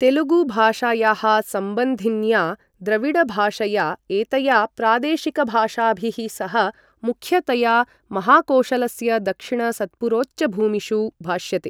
तेलुगु भाषायाः सम्बन्धिन्या द्रविड भाषया एतया प्रादेशिकभाषाभिः सह मुख्यतया महाकोशलस्य दक्षिण सत्पुरोच्चभूमिषु भाष्यते।